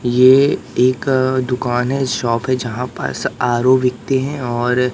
ये एक दुकान है शॉप है जहां पास आर_ओ बिकते हैं और--